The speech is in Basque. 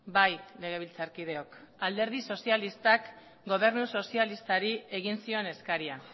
bai legebiltzarkideok alderdi sozialistak gobernu sozialistari egin zion eskaria